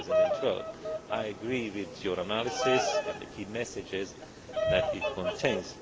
for 2012. I agree with your analysis and the key message that it contains.